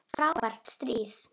Frábært stríð!